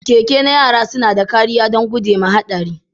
Keke na yara suna da kariya don guje wa haɗari.